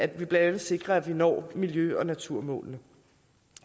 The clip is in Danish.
blandt andet sikrer at vi når miljø og naturmålene